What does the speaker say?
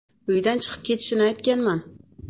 Uydan chiqib ketishini aytganman.